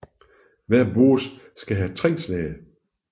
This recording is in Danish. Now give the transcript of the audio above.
Hver boss skal have tre slag